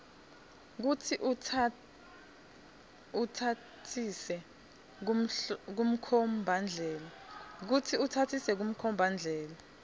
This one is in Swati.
kutsi utsatsise kumkhombandlela